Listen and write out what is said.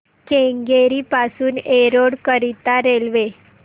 केंगेरी पासून एरोड करीता रेल्वे